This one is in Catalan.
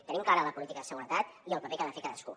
tenim clara la política de seguretat i el paper que ha de fer cadascú